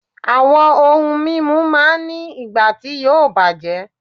Àwọn ohun mímu máa ń ní ìgbà tí yóò bàjẹ́